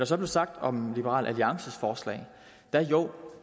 så blev sagt om liberal alliances forslag